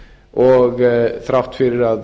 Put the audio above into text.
og þrátt fyrir að